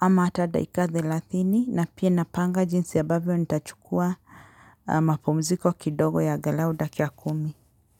ama hata daika thelathini na pia napanga jinsi ambavyo nitachukua mapumziko kidogo ya angalau dakika kumi.